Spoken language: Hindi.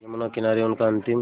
यमुना किनारे उनका अंतिम